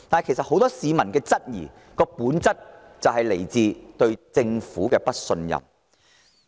其實，很多市民質疑這些計劃，本質上源於對政府的不信任。